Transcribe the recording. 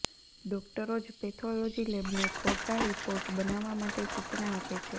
ડોક્ટરો જ પેથોલોજી લેબને ખોટા રિપોર્ટ બનાવવા માટે સૂચના આપે છે